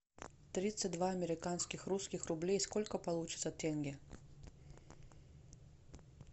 тридцать два американских русских рублей сколько получится тенге